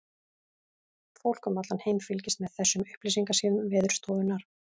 Fólk um allan heim fylgist með þessum upplýsingasíðum Veðurstofunnar.